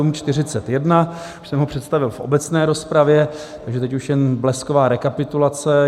Už jsem ho představil v obecné rozpravě, takže teď už jen blesková rekapitulace.